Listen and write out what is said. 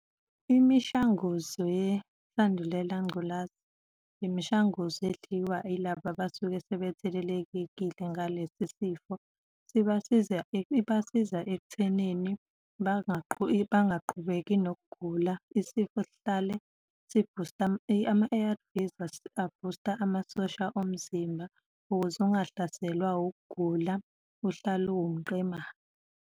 Imishanguzo yesandulela ngculaza, imishanguzo edliwa yilaba abasuke sebethelelekile ngalesi sifo, sibasiza, ibasiza ekuthenini bangaqhubeki nokugula, isifo sihlale sibhusta, ama-A_R_Vs abhusta amasosha omzimba ukuze ungahlaselwa ukugula, uhlale uwumqemane.